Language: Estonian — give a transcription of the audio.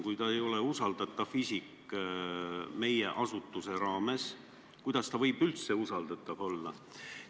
Kui ta ei ole usaldusväärne isik meie asutuse raames, kuidas ta siis võib üldse usaldatav olla?